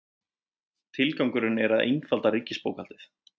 Tilgangurinn er að einfalda ríkisbókhaldið